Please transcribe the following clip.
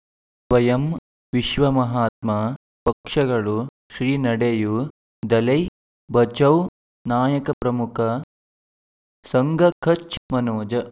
ಸ್ವಯಂ ವಿಶ್ವ ಮಹಾತ್ಮ ಪಕ್ಷಗಳು ಶ್ರೀ ನಡೆಯೂ ದಲೈ ಬಚೌ ನಾಯಕ ಪ್ರಮುಖ ಸಂಘ ಕಚ್ ಮನೋಜ್